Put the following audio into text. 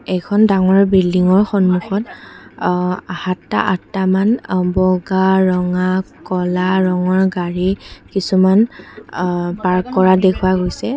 এইখন ডাঙৰ বিল্ডিংৰ সন্মুখত আ সাতটা আঠটা মান অ বগা ৰঙা ক'লা ৰঙৰ গাড়ী কিছুমান আ পাৰ্ক কৰা দেখুওৱা গৈছে।